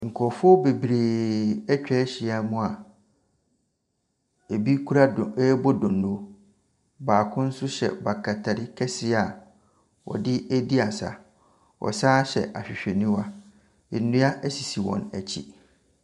Nkrɔfoɔ bebree atwa ahyia mu a ebi kura rebɔ donno. Baako nso hyɛ bakatari kɛseɛ a ɔde redi asa. Ɔsan hyɛ ahwehwɛniwa. Nnua esisi wɔn akyi.